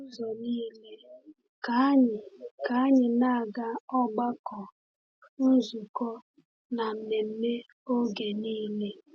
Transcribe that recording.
N’ụzọ niile, ka anyị ka anyị na-aga ọgbakọ, nzukọ, na mmemme oge niile.